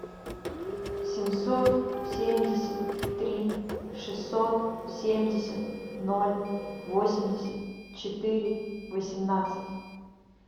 семьсот семьдесят три шестьсот семьдесят ноль восемьдесят четыре восемнадцать